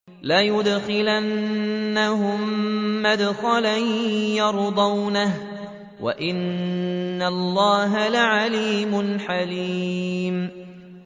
لَيُدْخِلَنَّهُم مُّدْخَلًا يَرْضَوْنَهُ ۗ وَإِنَّ اللَّهَ لَعَلِيمٌ حَلِيمٌ